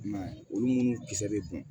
I m'a ye olu munnu kisɛ bɛ kun